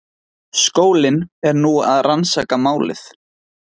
Skólinn er nú að rannsaka málið